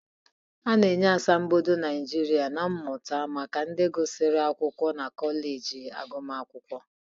A na-enye Asambodo Nijiria na Mmụta maka ndị gụsịrị akwụkwọ na kọleji agụmakwụkwọ.